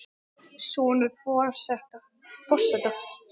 Sonur forseta